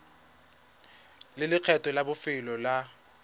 le lekgetho la bofelo la